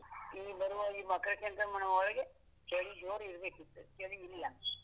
ಈ ಬರುವ ಈ ಮಕರ ಸಂಕ್ರಮಣ ಒಳಗೆ ಚಳಿ ಜೋರ್ ಇರ್ಬೇಕಿತ್ತು, ಚಳಿ ಇಲ್ಲ.